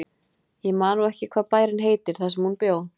Ég man nú ekki hvað bærinn heitir þar sem hún bjó.